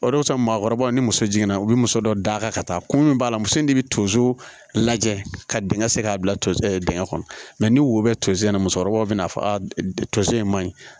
O de y'a to maakɔrɔbaw ni muso jiginna u bi muso dɔ d'a kan ka taa kun min b'a la muso in de bi tonso lajɛ ka dingɛ sen k'a bila dingɛ kɔnɔ mɛ ni wo bɛ tosi na musokɔrɔba bɛ n'a fɔ a tonso in ma ɲi